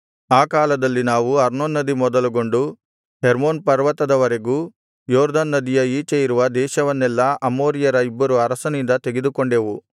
ಆ ಕಾಲದಲ್ಲಿ ನಾವು ಅರ್ನೋನ್ ನದಿ ಮೊದಲುಗೊಂಡು ಹೆರ್ಮೋನ್ ಪರ್ವತದವರೆಗೂ ಯೊರ್ದನ್ ನದಿಯ ಈಚೆ ಇರುವ ದೇಶವನ್ನೆಲ್ಲಾ ಅಮೋರಿಯರ ಇಬ್ಬರು ಅರಸರಿಂದ ತೆಗೆದುಕೊಂಡೆವು